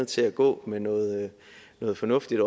til at gå med noget noget fornuftigt